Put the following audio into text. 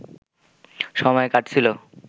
সময় কাটছিল